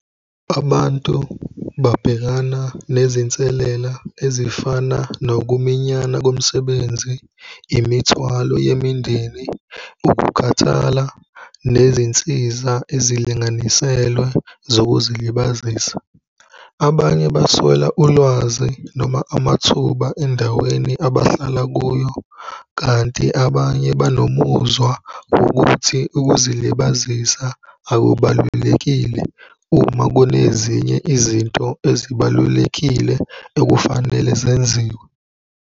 Abantu babhekana nezinselela ezifana nokuminyana komsebenzi, imithwalo yemindeni, ukukhathala, nezinsiza ezilinganiselwe zokuzilibazisa. Abanye baswela ulwazi noma amathuba endaweni abahlala kuyo kanti abanye banomuzwa wokuthi ukuzilibazisa akubalulekile uma kunezinye izinto ezibalulekile ekufanele zenziwe.